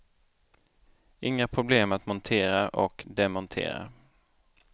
Inga problem att montera och demontera.